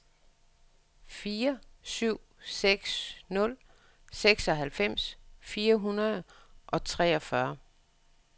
fire syv seks nul seksoghalvfems fire hundrede og treogfyrre